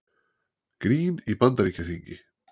Grín í Bandaríkjaþingi